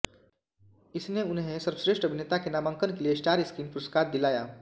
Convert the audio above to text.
इसने उन्हें सर्वश्रेष्ठ अभिनेता के नामांकन के लिए स्टार स्क्रीन पुरस्कार दिलाया